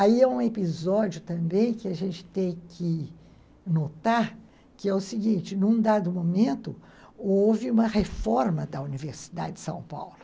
Aí é um episódio também que a gente tem que notar, que é o seguinte, num dado momento, houve uma reforma da Universidade de São Paulo.